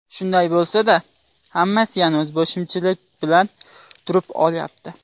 Shunday bo‘lsa-da, hammasi yana o‘zboshimchalik bilan turib olyapti.